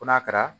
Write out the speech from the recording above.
Ko n'a kɛra